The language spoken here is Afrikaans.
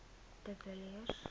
de villiers